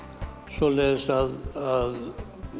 svoleiðis að